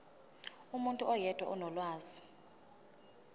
umuntu oyedwa onolwazi